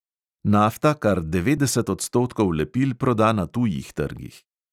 Nafta kar devetdeset odstotkov lepil proda na tujih trgih.